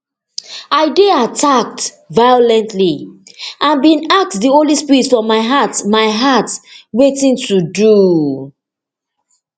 i dey attacked violently and bin ask di holy spirit for my heart my heart wetin to do